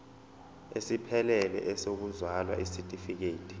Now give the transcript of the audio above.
esiphelele sokuzalwa isitifikedi